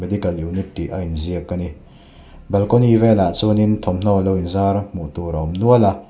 dikal unit tih a inziak a ni balkawni vêlah chuanin thawmhnaw lo inzar hmuh tûr a awm nual a.